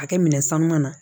A kɛ minɛ sanu na